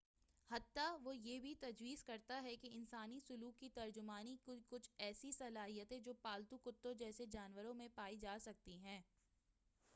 حتّیٰ وہ یہ بھی تجویز کرتا ہے کہ انسانی سلوک کی ترجمانی کی کچھ ایسی صلاحیتیں جو پالتو کتوں جیسے جانوروں میں پائی جا سکتی ہیں